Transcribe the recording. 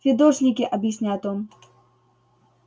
фидошники объясняет он